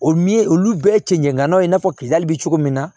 O min ye olu bɛɛ cɛncɛn ŋanaw ye i n'a fɔ bɛ cogo min na